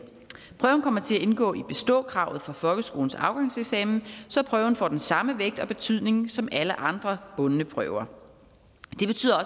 prøven kommer til at indgå i beståkravet for folkeskolens afgangseksamen så prøven får den samme vægt og betydning som alle andre bundne prøver det betyder